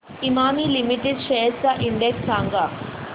Emami limited shares चा index सांगा